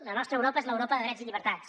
la nostra europa és l’europa de drets i llibertats